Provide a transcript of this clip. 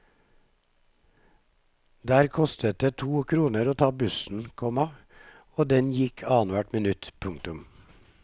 Der kostet det to kroner å ta bussen, komma og den gikk annenhvert minutt. punktum